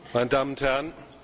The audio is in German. Meine Damen und Herren!